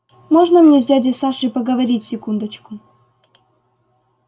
можно мне с дядей сашей поговорить секундочку